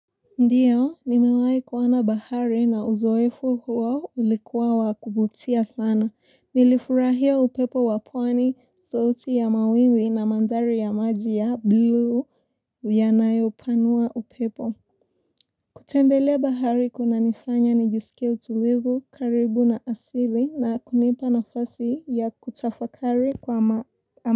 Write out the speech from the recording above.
Ndio nimewahi kuona bahari na uzoefu huo ulikuwa wa kuvutia sana nilifurahia upepo wa pwani sauti ya mawimbi na mandhari ya maji ya blue yanayo panua upepo kutembelea bahari kuna nifanya nijisikie utulivu karibu na asili na kunipa nafasi ya kutafakari kwa ma.